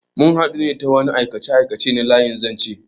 Mun hadu ne ta wani aikace-aikace na layin zanche.